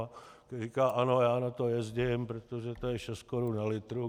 On říká: "Ano, já na to jezdím, protože to je šest korun na litr.